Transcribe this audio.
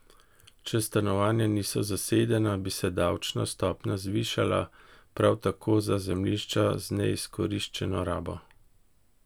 Če stanovanja niso zasedena, bi se davčna stopnja zvišala, prav tako za zemljišča z neizkoriščeno rabo.